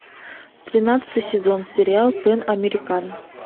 тринадцатый сезон сериал пэн американ